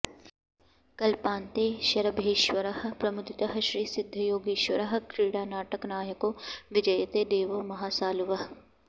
कल्पान्ते शरभेश्वरः प्रमुदितः श्रीसिद्धयोगीश्वरः क्रीडानाटकनायको विजयते देवो महासालुवः